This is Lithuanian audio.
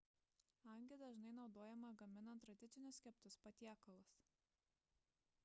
hangi dažnai naudojama gaminant tradicinius keptus patiekalus